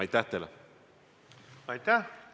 Aitäh!